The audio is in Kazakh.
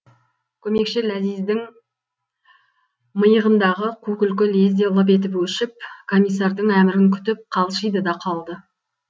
көмекші ләзиздің миығындағы қу күлкі лезде лып етіп өшіп комиссардың әмірін күтіп қалшиды да қалды